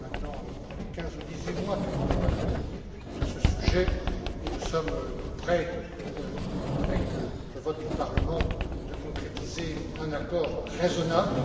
Cela fait maintenant près de quinze ou dix huit mois que nous débattons de ce sujet, et nous sommes tout près, avec le vote du Parlement, de concrétiser un accord raisonnable.